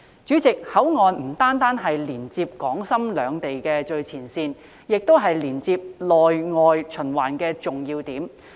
主席，口岸不單是連接港深兩地的最前線，亦是連接內外循環的重要點。